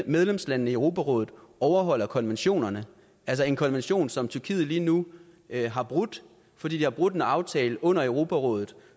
medlemslandene i europarådet overholder konventionerne altså en konvention som tyrkiet lige nu har brudt fordi de har brudt en aftale under europarådet